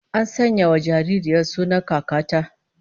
An sanya wa jaririyar sunan kakar ta